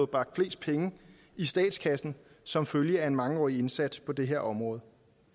bragt flest penge i statskassen som følge af en mangeårig indsats på det her område